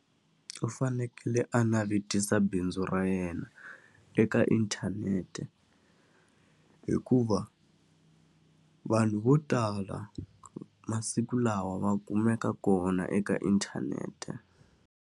U fanekele a navetisa bindzu ra yena eka inthanete hikuva, vanhu vo tala masiku lawa va kumeka kona eka inthanete.